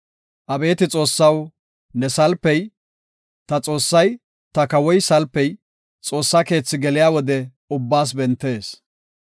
Abeeti Xoossaw, ne salpey, ta Xoossay ta kawoy salpey, Xoossa keethi geliya wode ubbaas bentees.